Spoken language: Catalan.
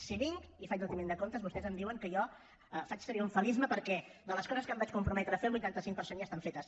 si vinc i faig retiment de comptes vostès em diuen que jo faig triomfalisme perquè de les coses que em vaig comprometre a fer el vuitanta cinc per cent ja estan fetes